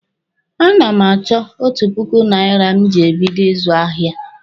A na m achọ otu puku naira m ji ebido ịzụ ahịa.